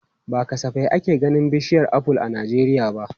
Ba kasafai ake ganin bishiyar aful a Najeriya ba.